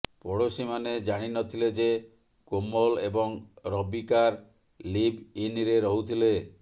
ପଡ଼ୋଶୀମାନେ ଜାଣି ନ ଥିଲେ ଯେ କୋମଲ ଏବଂ ରବିକାର ଲିଭ୍ ଇନ୍ରେ ରହୁଥିଲେ